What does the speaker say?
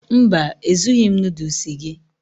Mba, Ezughị m noodles gị